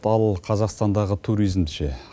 ал ол қазақстандағы туризмді ше